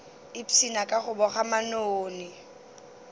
ipshina ka go boga manoni